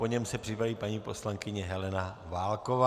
Po něm se připraví paní poslankyně Helena Válková.